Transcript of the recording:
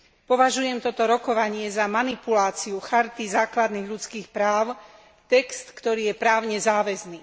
Považujem toto rokovanie za manipuláciu Charty základných ľudských práv, text, ktorý je právne záväzný.